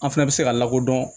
An fana bɛ se ka lakodɔn